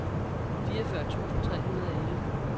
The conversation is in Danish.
fireogfyrre tusind tre hundrede og elleve